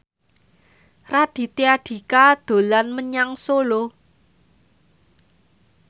Raditya Dika dolan menyang Solo